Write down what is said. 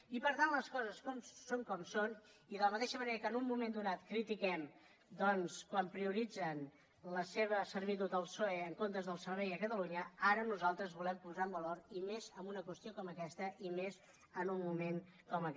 i per tant les coses són com són i de la mateixa manera que en un moment donat critiquem doncs quan prioritzen la seva servitud al psoe en comptes del servei a catalunya ara nosaltres ho volem posar en valor i més amb una qüestió com aquesta i més en un moment com aquest